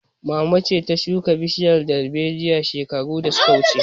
Mama ce ta shuka bishiyar darbejiya shekaru shida da su ka wuce